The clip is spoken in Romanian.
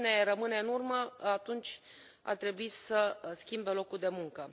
Cine rămâne în urmă, atunci ar trebui să schimbe locul de muncă.